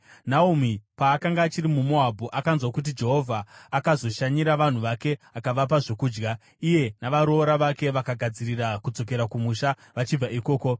Naomi paakanga achiri muMoabhu, akanzwa kuti Jehovha akazoshanyira vanhu vake akavapa zvokudya, iye navaroora vake vakagadzirira kudzokera kumusha vachibva ikoko.